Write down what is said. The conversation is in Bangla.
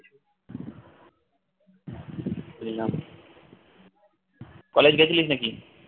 বুঝলাম college গেছিলিস নাকি